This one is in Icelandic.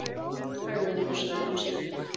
Hægan nú, sagði Gunnsteinn.